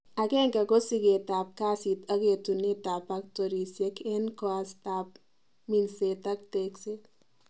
Agenge ko sikeet ab kasit ak etunet ab pactorisiek en koastab minset ak tekset